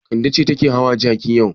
Kande ce take hawa jaki yau.